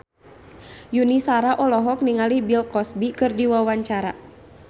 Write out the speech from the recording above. Yuni Shara olohok ningali Bill Cosby keur diwawancara